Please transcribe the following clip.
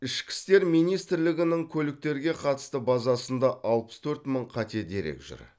ішкі істер министрлігінің көліктерге қатысты базасында алпыс төрт мың қате дерек жүр